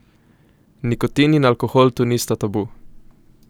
Nikotin in alkohol tu nista tabu!